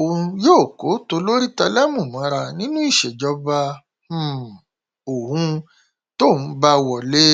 òun yóò kó tolórí tẹlẹmú mọra nínú ìṣèjọba um òun tóun bá wọlé